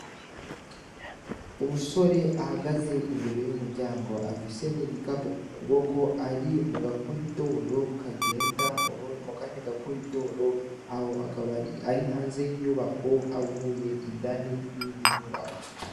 Umusore ahagaze imbere y'umuryango afise n'igikapu ku kuboko ari mu gakori doro kagenda mu kandi gakori doro aho akaba ari hanze y'inyubako avuye indani yindi nyubako.